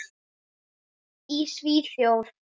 Í Svíþjóð